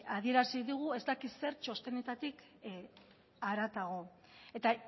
adierazi digu ez dakit zer txostenetatik haratago eta